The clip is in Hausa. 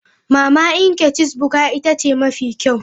Mama Nkechis Bukka ita ce mafi kyau.